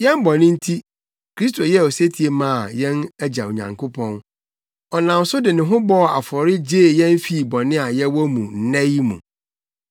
Yɛn bɔne nti, Kristo yɛɛ osetie maa yɛn Agya Nyankopɔn. Ɔnam so de ne ho bɔɔ afɔre gyee yɛn fii bɔne a yɛwɔ mu nnɛ yi mu.